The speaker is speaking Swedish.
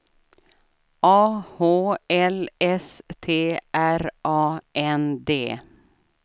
A H L S T R A N D